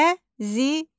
Xəzinə.